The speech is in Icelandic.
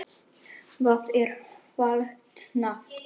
Það er fallegt nafn.